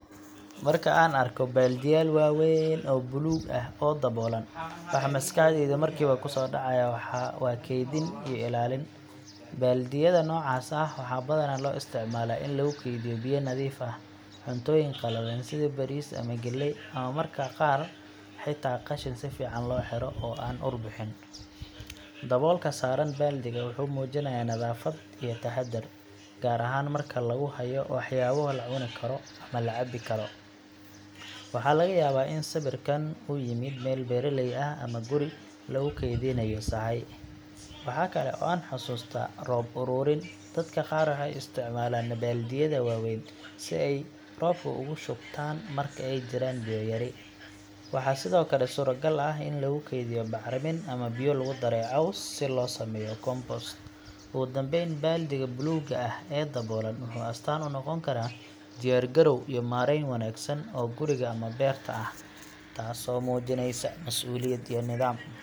Marka aan arko baaldiyaal waaweyn oo buluug ah oo daboolan, waxa maskaxdayda markiiba ku soo dhacaya waa kaydin iyo ilaalin. Baaldiyada noocaas ah waxaa badanaa loo isticmaalaa in lagu kaydiyo biyo nadiif ah, cuntooyin qallalan sida bariis ama galley, ama mararka qaar xitaa qashin si fiican loo xiro oo aan ur bixin. Daboolka saaran baaldiga wuxuu muujinayaa nadaafad iyo taxaddar, gaar ahaan marka lagu hayo waxyaabo la cuni karo ama la cabbi karo. Waxaa laga yaabaa in sawirkan uu ka yimid meel beeraley ah ama guri lagu kaydinayo sahay. Waxa kale oo aan xasuustaa roob ururin dadka qaar waxay isticmaalaan baaldiyada waaweyn si ay roobka ugu shubtaan marka ay jiraan biyo yari. Waxaa sidoo kale suuragal ah in lagu kaydiyo bacrimin ama biyo lagu daray caws si loo sameeyo compost. Ugu dambeyn, baaldiga buluugga ah ee daboolan wuxuu astaan u noqon karaa diyaargarow iyo maarayn wanaagsan oo guriga ama beerta ah, taasoo muujinaysa masuuliyad iyo nidaam.